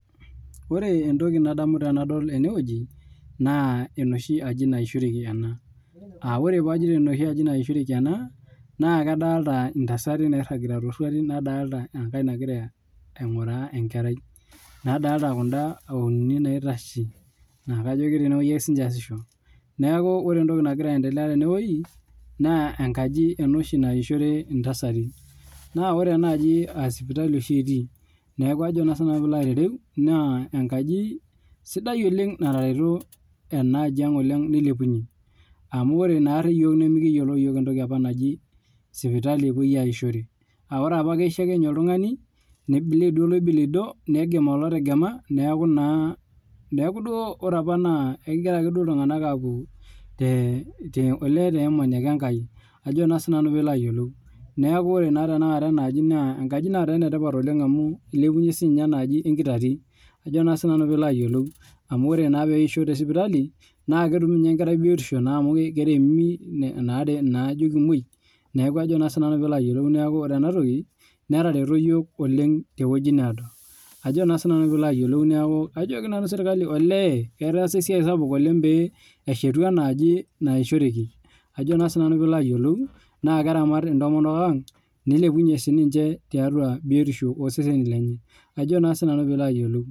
Ore entoki nadamu tenadol enewueji naa enoshi aji nasishoreki ena AA ore pee ajoito enoshi aji nasishoreki ena naa kadolita entasati nairagita too ruatin nadolita enkae nagira aing'uraa enkerai nadolita kuda uni naitashe naa kejo ketene ake sininche esisho neeku ore entoki naagira aendelea tenewueji naa enkaji enoshi naishoru entasati naa ore enaaji naa sipitali oshi etii neeku naa enkaji sidai oleng natareto enajiang nilepunye amu ore apa iyiok nimikiyiolo entoki apa naaji sipitali epuoi ayishore ore apa keyisho ake oltung'ani nibleed akeeduo oloibulidoo negem olotegema neeku ore duo apa naa ekigira duo apa iltung'ana apuo tee amani ake enkai neeku ore naa taata enaaji naa enkaji nataa enetipat amu elepunye sininye enaaji enkitati amu ore naa pee eisho tee sipitali naa ketumi ninye enkerai biotisho amu keremi naajo kemuoi neeku ore ena toki netaretuo iyiok oleng tewueji nedoo neeku kajoki sirkali etaasa esiai sapuk oleng lee eshetu enaaji nayishoreki naa keramat entomonok ang nilepunye biotisho oo seseni lenye